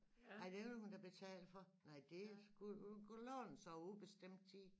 Ej den ville hun da betale for nej det skulle hun kunne låne så ubestemt tid